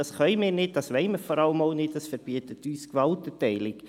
Das können und das wollen wir vor allem nicht, das verbietet uns die Gewaltenteilung.